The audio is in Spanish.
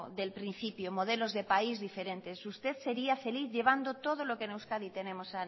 del principio modelos de país diferentes usted sería feliz llevando todo lo que en euskadi tenemos